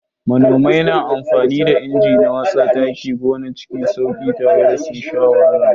Manomai na amfani da inji na watsa taki a gona cikin sauki ba tare da sun sha wahala ba.